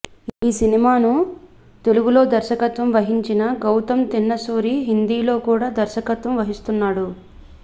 ఈ సినిమాను తెలుగులో దర్శకత్వం వహించిన గౌతమ్ తిన్ననూరి హిందీలో కూడా దర్శకత్వం వహిస్తున్నాడు